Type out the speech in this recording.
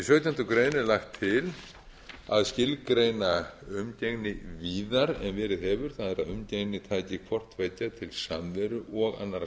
sautjándu grein er lagt til að skilgreina umgengni víðar en verið hefur það er að umgengni taki hvort tveggja til samveru og annarra